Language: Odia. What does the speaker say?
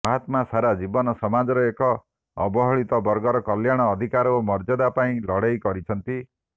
ମହାତ୍ମା ସାରା ଜୀବନ ସମାଜର ଏହି ଅବହେଳିତ ବର୍ଗର କଲ୍ୟାଣ ଅଧିକାର ଓ ମର୍ଯ୍ୟାଦା ପାଇଁ ଲଢେଇ କରିଛନ୍ତି